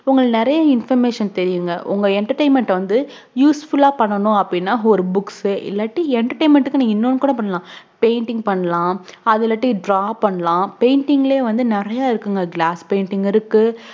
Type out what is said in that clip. உங்களுக்குநெறைய information தெரியுங்க உங்க entertainment வந்து use full ஆ பண்ணனும் அபுடின ஒரு books இல்லாட்டி entertainment க்கு இன்னொன்னும் கூட பண்ணலாம் painting பண்ணலாம் அது இல்லாட்டி draw பண்ணலாம் painting ல வந்து நெறைய இருக்கு glasspainting இருக்கு